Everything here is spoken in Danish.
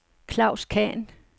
Klaus Khan